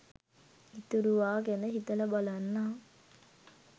ඉතුරුවා ගැන හිතලා බලන්නම්